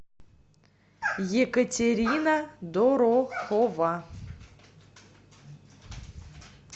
екатерина дорохова